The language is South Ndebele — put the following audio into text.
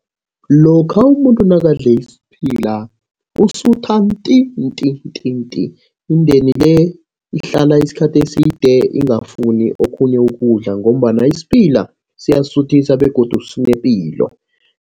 Lokha umuntu nakadle isiphila usutha nti, nti, nti, nti. Indeni le ihlala isikhathi eside ingafuni okhunye ukudla, ngombana isiphila siyasuthisa begodu sinepilo.